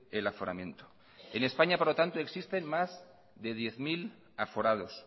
el aforamiento en españa por lo tanto existen más de diez mil aforados